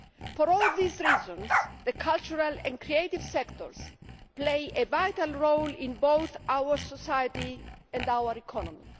For all these reasons, the cultural and creative sectors play a vital role in both our society and our economy.